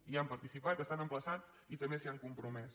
hi han participat estan emplaçats i també s’hi han compromès